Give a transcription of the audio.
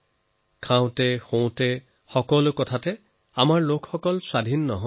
খোৱাবোৱা শোৱা কোনো কথাতে মানুহ স্বাধীন নহয়